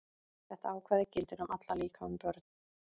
Þetta ákvæði gildir um alla, líka um börn.